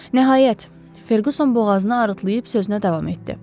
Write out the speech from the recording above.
Nəhayət, Ferquson boğazını arıdıb sözünə davam etdi.